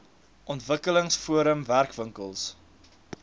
ontwikkelings forum werkwinkels